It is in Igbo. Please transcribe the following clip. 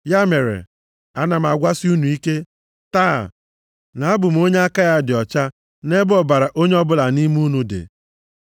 Ya mere, ana m agwasị unu ike, taa, na abụ m onye aka ya dị ọcha nʼebe ọbara onye ọbụla nʼime unu dị.